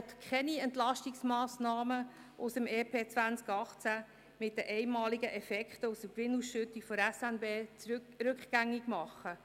Er will keine Entlastungsmassnahmen aus dem EP 2018 mit den einmaligen Effekten aus der Gewinnausschüttung der SNB rückgängig machen.